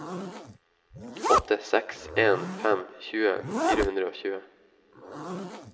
åtte seks en fem tjue fire hundre og tjue